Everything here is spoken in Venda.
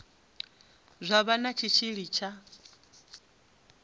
zwa vha na tshitshili tsha